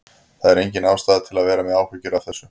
Það er engin ástæða til að vera með áhyggjur af þessu.